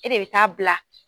E de bɛ taa bila.